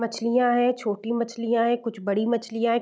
मछलियाँ है छोटी मछलियाँ है कुछ बड़ी मछलियाँ है ।